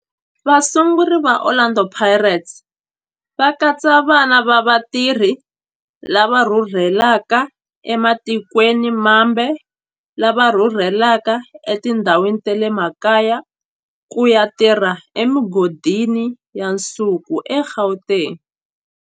Vasunguri va Orlando Pirates va katsa vana va vatirhi lava rhurhelaka ematikweni mambe lava rhurheleke etindhawini ta le makaya ku ya tirha emigodini ya nsuku eGauteng.